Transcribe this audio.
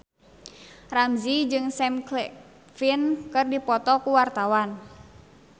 Ramzy jeung Sam Claflin keur dipoto ku wartawan